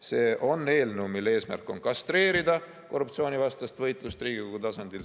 See on eelnõu, mille eesmärk on kastreerida korruptsioonivastast võitlust Riigikogu tasandil.